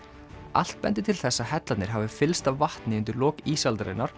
allt bendir til þess að hellarnir hafi fyllst af vatni undir lok